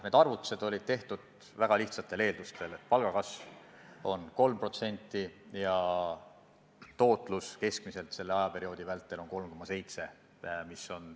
Need arvutused olid tehtud väga lihtsatel eeldustel, et palgakasv on 3% ja keskmine tootluse kasv selle ajaperioodi vältel 3,7%.